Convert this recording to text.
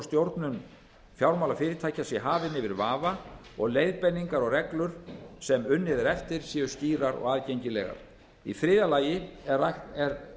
stjórnun fjármálafyrirtækja sé hafinn yfir vafa og leiðbeiningar og reglur sem unnið er eftir séu skýrar og aðgengilegar þriðja lögð er